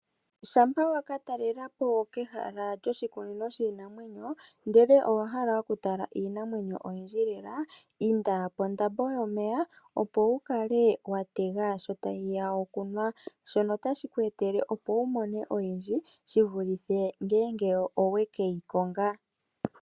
Shampa waka talela po kehala lyoshikunino shiinamwenyo ndele owahala oku tala iinamwenyo oyindji lela inda pondambo yomeya, opo wu kale wa tega sho tayi ya okunwa, shono otashi ku etele opo wu mone oyindji shi vulithe ngele oweke yi konga.